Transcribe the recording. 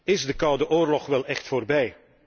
Is de koude oorlog wel echt voorbij?